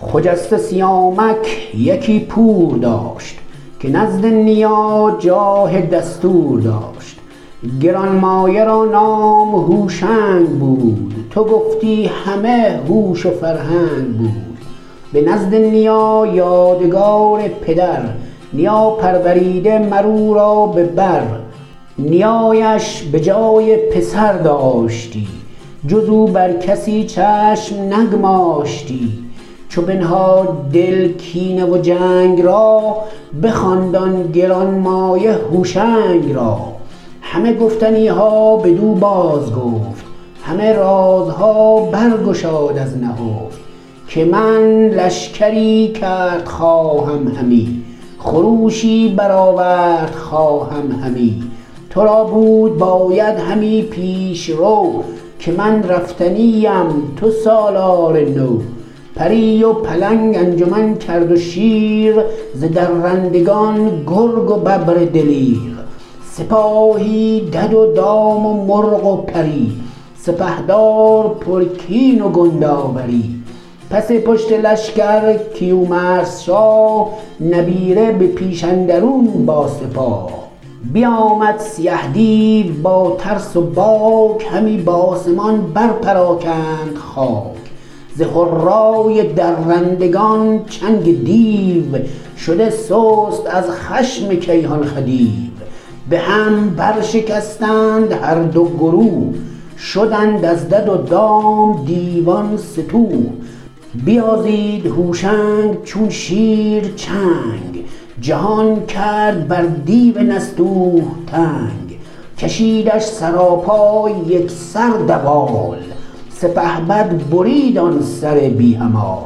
خجسته سیامک یکی پور داشت که نزد نیا جاه دستور داشت گرانمایه را نام هوشنگ بود تو گفتی همه هوش و فرهنگ بود به نزد نیا یادگار پدر نیا پروریده مر او را به بر نیایش به جای پسر داشتی جز او بر کسی چشم نگماشتی چو بنهاد دل کینه و جنگ را بخواند آن گرانمایه هوشنگ را همه گفتنی ها بدو بازگفت همه رازها بر گشاد از نهفت که من لشکری کرد خواهم همی خروشی برآورد خواهم همی تو را بود باید همی پیشرو که من رفتنی ام تو سالار نو پری و پلنگ انجمن کرد و شیر ز درندگان گرگ و ببر دلیر سپاهی دد و دام و مرغ و پری سپهدار پرکین و کنداوری پس پشت لشکر کیومرث شاه نبیره به پیش اندرون با سپاه بیامد سیه دیو با ترس و باک همی بآسمان بر پراگند خاک ز هرای درندگان چنگ دیو شده سست از خشم کیهان خدیو به هم برشکستند هر دو گروه شدند از دد و دام دیوان ستوه بیازید هوشنگ چون شیر چنگ جهان کرد بر دیو نستوه تنگ کشیدش سراپای یک سر دوال سپهبد برید آن سر بی همال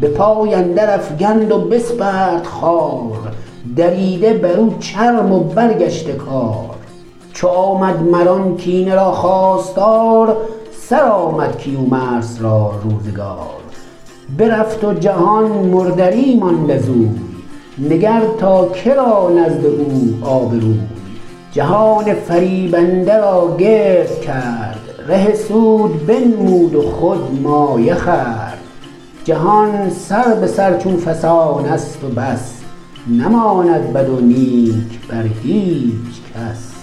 به پای اندر افگند و بسپرد خوار دریده بر او چرم و برگشته کار چو آمد مر آن کینه را خواستار سرآمد کیومرث را روزگار برفت و جهان مردری ماند ازوی نگر تا که را نزد او آبروی جهان فریبنده را گرد کرد ره سود بنمود و خود مایه خورد جهان سر به سر چو فسانست و بس نماند بد و نیک بر هیچ کس